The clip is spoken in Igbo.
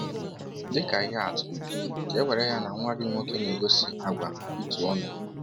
Dị ka ihe atụ, ka e were ya na nwa gị nwoke na-egosi àgwà itu ọnụ.